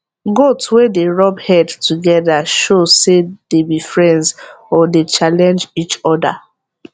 goat wey dey rub head togethershow say dey be friends or dey challenge each oda